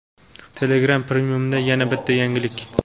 Telegram Premiumda yana bitta yangilik:.